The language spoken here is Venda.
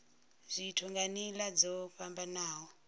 zwithu nga nila dzo fhambanaho